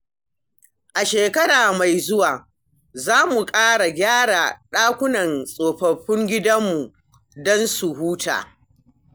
A shekara mai zuwa, za mu ƙara gyaran dakunan tsofaffin gidanmu don su huta.